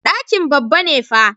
Ɗakin babba ne fa.